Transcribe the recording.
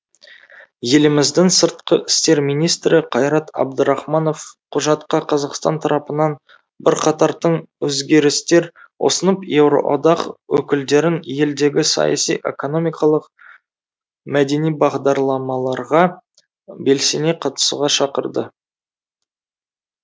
еліміздің сыртқы істер министрі қайрат әбдірахманов құжатқа қазақстан тарапынан бірқатар тың өзгерістер ұсынып еуроодақ өкілдерін елдегі саяси экономикалық мәдени бағдарламаларға белсене қатысуға шақырды